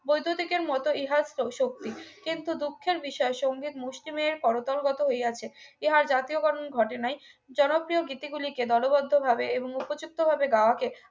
বৈদ্যুতিকের মতো ইহা শক্তি কিন্তু দুঃখের বিষয় সংগীত মুষ্টিমেয় করতলগত হইয়াছে ইহার জাতীয়করণ ঘটে নাই জনপ্রিয় গীতি গুলিকে দলবদ্ধভাবে এবং এবং উপযুক্ত ভাবে গাওয়া কে